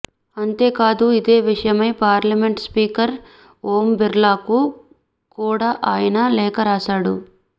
అంతేకాదు ఇదే విషయమై పార్లమెంట్ స్పీకర్ ఓం బిర్లాకు కూడ ఆయన లేఖ రాశాడు